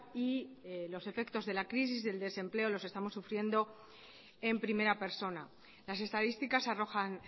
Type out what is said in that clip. y los efectos de la crisis el desempleo los estamos sufriendo en primera persona las estadísticas arrojan